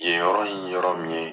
Yen yɔrɔ in ye yɔrɔ min ye